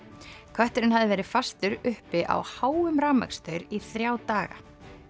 kötturinn hafði verið fastur uppi á háum í þrjá daga